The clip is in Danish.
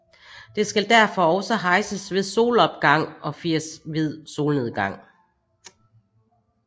Det skal derfor også hejses ved solopgang og fires ved solnedgang